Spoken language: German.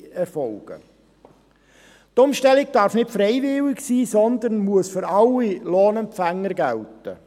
Zweitens darf die Umstellung nicht freiwillig sein, sondern muss für alle Lohnempfänger gelten.